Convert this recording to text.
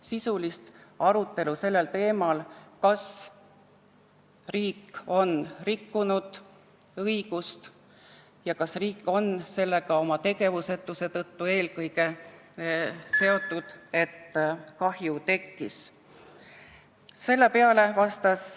Sisulist arutelu sellel teemal, kas riik on õigust rikkunud ja kas riik on eelkõige oma tegevusetuse tõttu seotud sellega, et kahju tekkis, ei olnud.